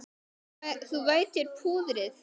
Þú vætir púðrið.